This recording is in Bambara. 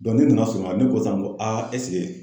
ne nana sɔmi a la, ne ko sisan a ɛseke?